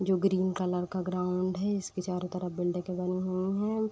जो green colour का ground है। इसके चारो तरफ बिल्डिंगे बनी हुई हैं।